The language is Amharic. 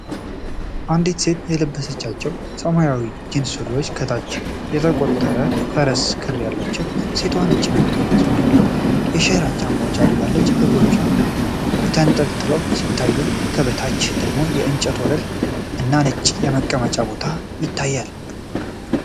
አንዲት ሴት የለበሰቻቸው ሰማያዊ ጂንስ ሱሪዎች ከታች ተቆርጠው የፈረሰ ክር አላቸው። ሴቷ ነጭና ቀይ መስመር ያላቸው የሸራ ጫማዎች አድርጋለች። እግሮቿ ተንጠልጥለው ሲታዩ ከበታች ደግሞ የእንጨት ወለል እና ነጭ የመቀመጫ ቦታ ይታያል።